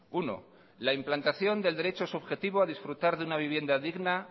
uno la implantación del derecho subjetivo a disfrutar de una vivienda digna